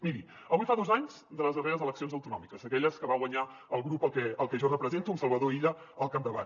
miri avui fa dos anys de les darreres eleccions autonòmiques aquelles que va guanyar el grup al que jo represento amb salvador illa al capdavant